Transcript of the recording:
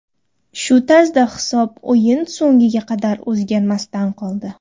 Shu tarzda hisob o‘yin so‘ngiga qadar o‘zgarmasdan qoldi.